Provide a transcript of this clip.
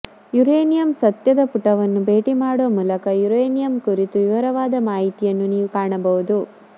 uranium ಸತ್ಯದ ಪುಟವನ್ನು ಭೇಟಿ ಮಾಡುವ ಮೂಲಕ ಯುರೇನಿಯಂ ಕುರಿತು ವಿವರವಾದ ಮಾಹಿತಿಯನ್ನು ನೀವು ಕಾಣಬಹುದು